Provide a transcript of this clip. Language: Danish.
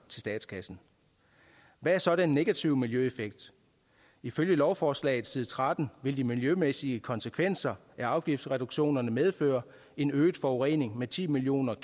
statskassen hvad er så den negative miljøeffekt ifølge lovforslaget på side tretten vil de miljømæssige konsekvenser af afgiftsreduktionerne medføre en øget forurening med ti million